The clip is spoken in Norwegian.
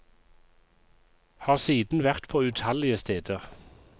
Har siden vært på utallige steder.